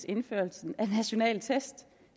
indført